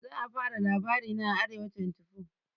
za a fara labarina a arewa24